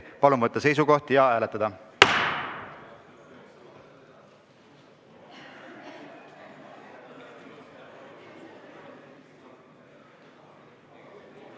Palun võtta seisukoht ja hääletada!